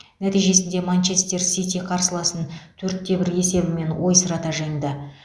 нәтижесінде манчестер сити қарсыласын төрт те бір есебімен ойсырата жеңді